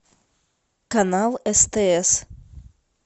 канал стс